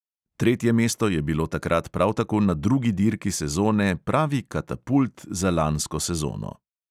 Tretje mesto je bilo takrat prav tako na drugi dirki sezone pravi katapult za lansko sezono.